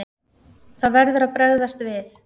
Það verður að bregðast við.